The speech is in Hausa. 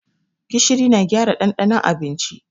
Gishiri yana gyara ɗanɗanon abinci.